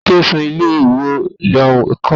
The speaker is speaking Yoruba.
Tani kí ó san owó ilé ẹ̀kọ́ àwọn ọmọ